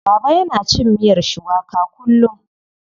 Baba yana cin miyar shuwaka kullum.